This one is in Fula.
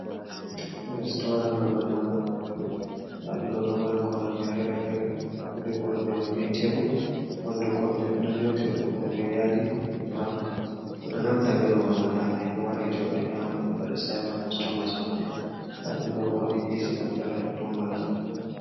Restaran babal nyamugo nyamdu, nda ɗum ɗo, ɗo mari koromje fere-fere wodi korumje mai be tebbul, ɓanɗu korumje ɓe ɗon yotiri ɗum on be yadi brawn, ɓe ɗo naftira be babal man hala himɓɓe wara joɗa nyama, ɓe waɗa savin cost tomas maɓɓe, nda ɗum ɗo bo wodi esi ɓo ɗo dari ha totton manga.